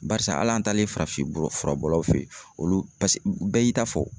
Barisa hali an taalen farafin fura bɔlaw fe yen olu bɛɛ y'i ta fɔ.